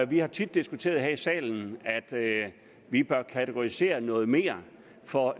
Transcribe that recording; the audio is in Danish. vi har tit diskuteret her i salen at vi bør kategorisere noget mere for